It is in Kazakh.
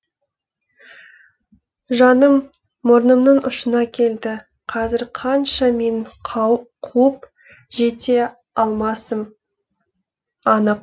жаным мұрнымның ұшына келді қазір қанша менің қуып жете алмасым анық